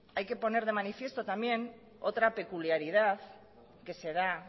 hay que poner de manifiesto también otra peculiaridad que se da